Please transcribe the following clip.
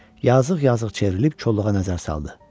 Yazıq-yazıq çevrilib qoluğa nəzər saldı.